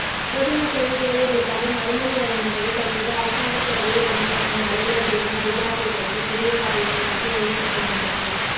பொதுமக்களின் தேவைகளுக்காக மறுமொழி வழங்கும் போது தற்போது அரசாங்க சேவையில் கடமையாற்றும் அலுவலர்களின் அபிலாசைகளுக்கு புதிய பாதையினை நோக்கி வழிநடாத்துகின்றது